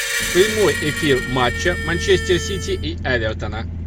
прямой эфир матча манчестер сити и эвертона